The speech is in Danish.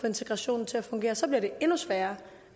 integrationen til at fungere så bliver det endnu sværere